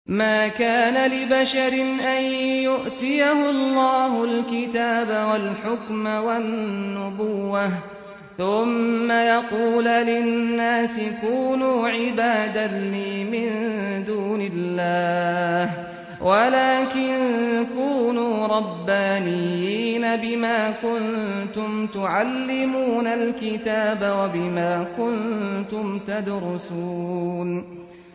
مَا كَانَ لِبَشَرٍ أَن يُؤْتِيَهُ اللَّهُ الْكِتَابَ وَالْحُكْمَ وَالنُّبُوَّةَ ثُمَّ يَقُولَ لِلنَّاسِ كُونُوا عِبَادًا لِّي مِن دُونِ اللَّهِ وَلَٰكِن كُونُوا رَبَّانِيِّينَ بِمَا كُنتُمْ تُعَلِّمُونَ الْكِتَابَ وَبِمَا كُنتُمْ تَدْرُسُونَ